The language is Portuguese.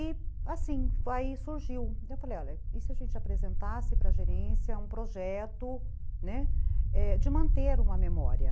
E assim, aí surgiu, eu falei, olha, e se a gente apresentasse para a gerência um projeto de manter uma memória?